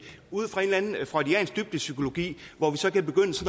ud fra en eller anden freudiansk dybdepsykologi hvor vi så kan begynde